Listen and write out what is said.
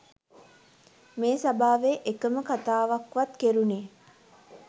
මේ සභාවේ එකම කතාවක්වත් කෙරුණේ